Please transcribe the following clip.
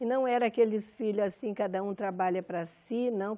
E não era aqueles filhos assim, cada um trabalha para si, não.